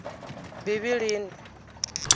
bivhilini